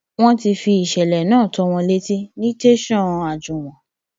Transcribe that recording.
wọn ti fi ìṣẹlẹ náà tó wọn létí ní tẹsán àjúwọn